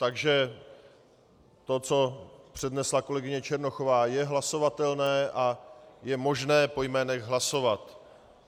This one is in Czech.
Takže to, co přednesla kolegyně Černochová, je hlasovatelné a je možné po jménech hlasovat.